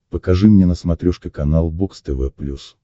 покажи мне на смотрешке канал бокс тв плюс